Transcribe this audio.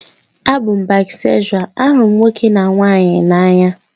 A bụ m baịsekshual, ahụrụ m ma nwoke ma nwanyị n'anya